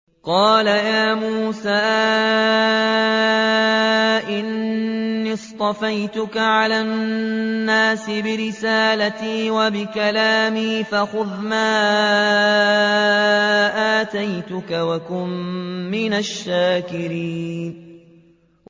قَالَ يَا مُوسَىٰ إِنِّي اصْطَفَيْتُكَ عَلَى النَّاسِ بِرِسَالَاتِي وَبِكَلَامِي فَخُذْ مَا آتَيْتُكَ وَكُن مِّنَ الشَّاكِرِينَ